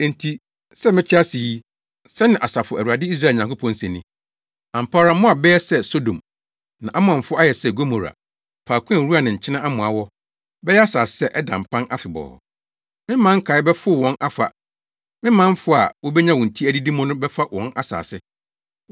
Enti sɛ mete ase yi,” sɛnea Asafo Awurade, Israel Nyankopɔn, se ni, “Ampa ara Moab bɛyɛ sɛ Sodom, na Amonfo ayɛ sɛ Gomora, faako a nwura ne nkyene amoa wɔ, bɛyɛ asase a ɛda mpan afebɔɔ. Me man nkae bɛfow wɔn afa; me manfo a wobenya wɔn ti adidi mu no bɛfa wɔn asase.”